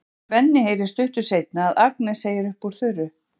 Svenni heyrir stuttu seinna að Agnes segir upp úr þurru